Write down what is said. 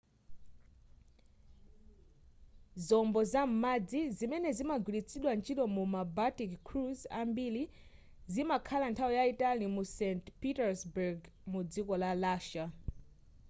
zombo za m'madzi zimene zimagwiritsidwa ntchito mu ma baltic cruise ambiri zimakhala nthawi yayitali mu st petersburg mudziko la russia